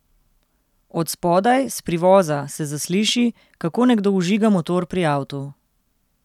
Od spodaj, s privoza, se zasliši, kako nekdo vžiga motor pri avtu.